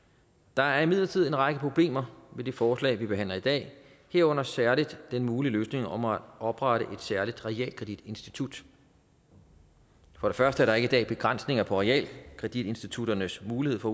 der er imidlertid en række problemer med det forslag vi behandler i dag herunder særlig den mulige løsning om at oprette et særligt realkreditinstitut for det første er i dag begrænsninger på realkreditinstitutternes mulighed for